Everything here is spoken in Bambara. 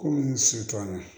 Ko n si t'an na